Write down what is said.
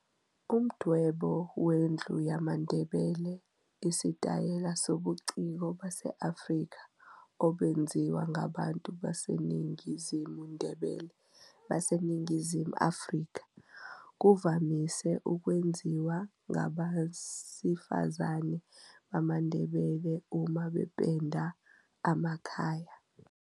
Umdwebo wendlu yamaNdebele isitayela sobuciko base-Afrika obenziwa ngabantu baseNingizimu Ndebele baseNingizimu Afrika. Kuvamise ukwenziwa ngabesifazane bamaNdebele uma bependa amakhaya.